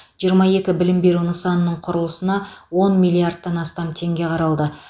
жиырма екі білім беру нысанының құрылысына он миллиардтан астам теңге қаралды